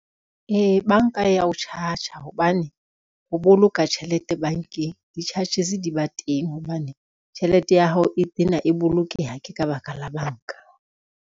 Ee, banka ya o charge-a hobane ho boloka tjhelete bankeng di-charges di ba teng, hobane tjhelete ya hao e tena e bolokeha ke ka baka la banka.